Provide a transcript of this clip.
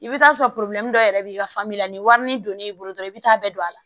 I bɛ t'a sɔrɔ dɔ yɛrɛ b'i ka fan bɛɛ la ni warini donn'i bolo dɔrɔn i bɛ taa bɛɛ don a la